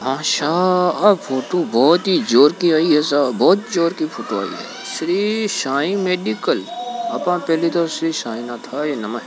आचा फोटो बहुत ही जोरकी आई है साहब बहुत जोर की फोटो आई हैश्री शाई मेडिकल आपा श्री साहिनाथ नमः --